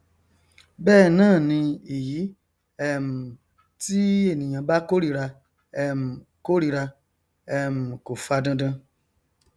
bẹẹ náà ni èyí um tí ènìyàn bá kórira um kórira um kò fa dandan